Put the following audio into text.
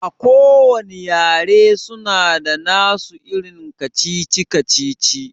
A kowanne yare suna da nasu irin kacici-kacici